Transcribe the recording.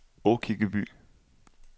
Aakirkeby